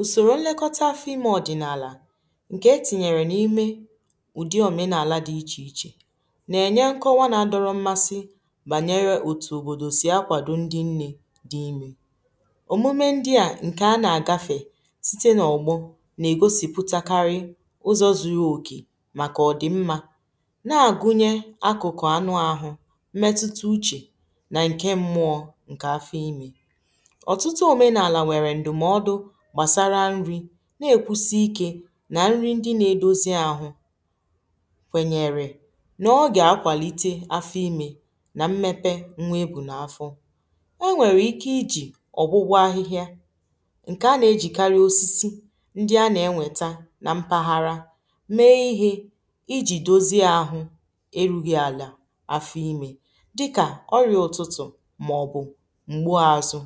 usoro nlekọta afọ ime ọdịnala nke etinyere na ime ụdị omenala dị iche iche na-enye nke ọwa na adọrọ mmasị banyere otu obodo si akwado ndị nne dị ime omume ndị a nke a na-agafe site na ọgbọ na-egosipụtakarị ụzọ zuru oke maka ọdịmma na-agụnye akụkụ anụ ahụ mmetuta uche na nke mmụọ nke afọ ime nti omenala nwere ndụmọdụ gbasara nri na-ekwusi ike na nri ndị na-edozi ahụ kweenyere na ọ ga-akwalite afọ ime na mmepe nwa ebu n’afọ enwere ike iji ọgbụgwọ ahịhịa nke a na-ejikarị osisi ndị a na-enweta na mpaghara mee ihe iji dozie ahụ eru gị ala afọ ime dịka ọrịa ụtụtụ ma ọ bụ mgbu azụ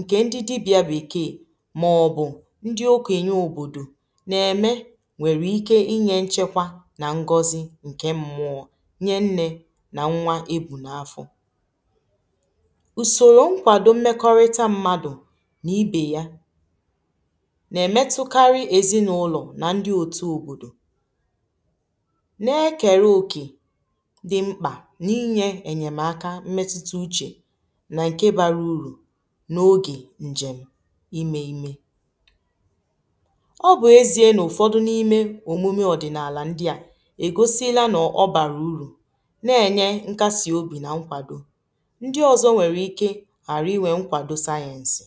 ǹkè ndị dibị̀à bụ̀ ikeè màọ̀bụ̀ ndị okò ènye òbòdò nà-ème nwèrè ike inyė nchekwa nà ngọzi ǹkè mmụọ̇ nye nnė nà nnwa ebù n’afọ̀ ùsòrò nkwàdo mmekọrịta mmadụ̀ nà ibè ya nà-èmetukarị èzinụlọ̀ nà ndị òtù òbòdò nà-ekere òkè dị mkpà n’inyė ènyèmaka mmetuta n’oge njem ime ime ọ bụ ezie n’ụfọdụ n’ime omume ọdịnala ndị a egosila na ọ bara uru na-enye nkasi obi na nkwado ndị ọzọ nwere ike arụ inwe nkwado sayensị